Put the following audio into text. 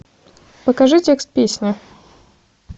покажи текст песни